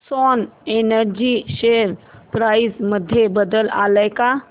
Swan energy share price मध्ये बदल आलाय का